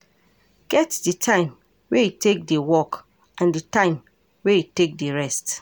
Get di time wey you take dey work and di time wey you take dey rest